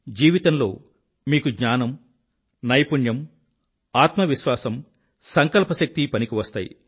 జీవితంలో మీకు జ్ఞానం నైపుణ్యం ఆత్మవిశ్వాసం సంకల్ప శక్తి పనికివస్తాయి